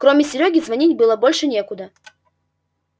кроме серёги звонить было больше некуда